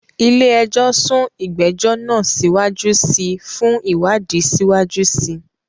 Ilé ẹjọ́ sún ìgbẹ́jọ́ náà síwájú sí i fún ìwádìí síwájú sí i.